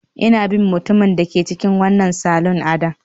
Ina bin mutumin da ke cikin wannan salon adon